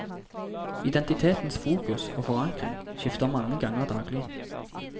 Identitetens fokus og forankring skifter mange ganger daglig.